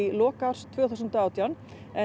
lok árs tvö þúsund og átján